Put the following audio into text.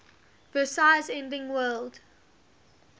versailles ending world